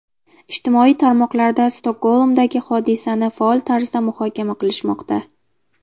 Ijtimoiy tarmoqlarda Stokgolmdagi hodisani faol tarzda muhokama qilishmoqda.